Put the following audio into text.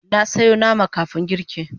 Na soya nama kafun girki